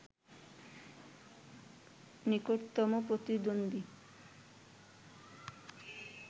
নিকটতম প্রতিদ্বন্দ্বী